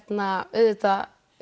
auðvitað